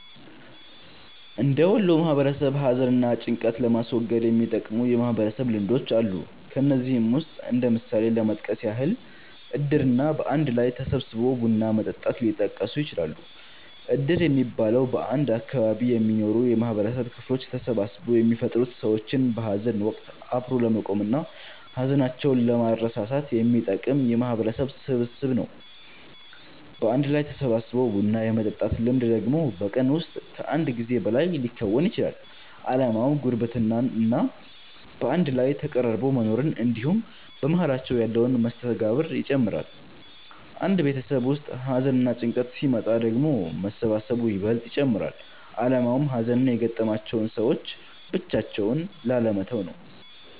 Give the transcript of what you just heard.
እንደ ወሎ ማህበረሰብ ሀዘን እና ጭንቀትን ለማስወገድ የሚጠቅሙ የማህበረሰብ ልምዶች አሉ። ከነዚህም ውስጥ እንደ ምሳሌ ለመጥቀስ ያህል እድር እና በአንድ ላይ ተሰባስቦ ቡና መጠጣት ሊጠቀሱ ይችላሉ። እድር የሚባለው፤ በአንድ አካባቢ የሚኖሩ የማህበረሰብ ክፍሎች ተሰባስበው የሚፈጥሩት ሰዎችን በሀዘን ወቀት አብሮ ለመቆም እና ሀዘናቸውን ለማስረሳት የሚጠቅም የማህበረሰብ ስብስብ ነው። በአንድ ላይ ተሰባስቦ ቡና የመጠጣት ልምድ ደግሞ በቀን ውስጥ ከአንድ ጊዜ በላይ ሊከወን ይችላል። አላማውም ጉርብትና እና በአንድ ላይ ተቀራርቦ መኖርን እንድሁም በመሃላቸው ያለን መስተጋብር ይጨምራል። አንድ ቤተሰብ ውስጥ ሀዘንና ጭንቀት ሲመጣ ደግሞ መሰባሰቡ ይበልጥ ይጨመራል አላማውም ሀዘን የገጠማቸውን ሰዎች ብቻቸውን ላለመተው ነው።